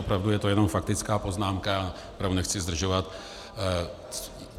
Opravdu je to jenom faktická poznámka a opravdu nechci zdražovat.